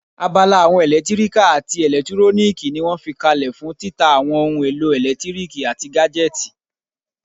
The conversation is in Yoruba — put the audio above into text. Abala àwọn ẹlẹtíríkà àti ẹlẹtúróníìkì ní wọ́n fi kalẹ̀ fún títa àwọn ohun èlò ẹlẹtíríkì àti gájẹ́tìì